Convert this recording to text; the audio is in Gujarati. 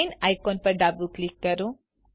ચેઇન આઇકોન પર ડાબું ક્લિક કરો